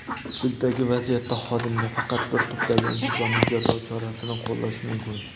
sizdagi vaziyatda xodimga faqat bir turdagi intizomiy jazo chorasini qo‘llash mumkin.